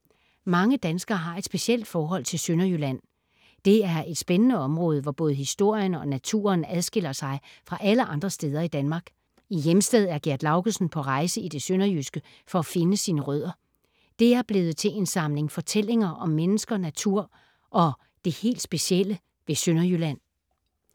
Mange danskere har et specielt forhold til Sønderjylland. Det er et spændende område, hvor både historien og naturen adskiller sig fra alle andre steder i Danmark. I Hjemsted er Gerd Laugesen på rejse i det sønderjyske for at finde sine rødder. Det er blevet til en samling fortællinger om mennesker, natur og det helt specielle ved Sønderjylland.